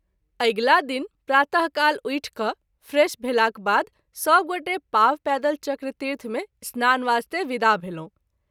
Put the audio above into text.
अगिला दिन प्रात:काल उठि क’ फ्रेश भेलाक बाद सभ गोटे पाँव पैदल चक्रतीर्थ मे स्नान वास्ते विदा भेलहुँ।